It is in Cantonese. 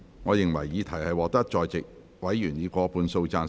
我認為議題獲得在席委員以過半數贊成。